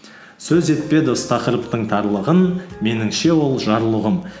сөз етпе дос тақырыптың тарлығын меніңше ол жарлы ұғым